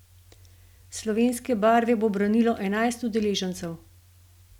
Slovenske barve bo branilo enajst udeležencev.